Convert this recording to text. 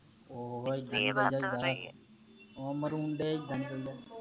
ਓਹ ਮਰੂੰਡੇ